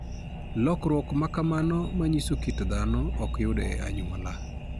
Lokruok ma kamano manyiso kit dhano ok yud e anyuola.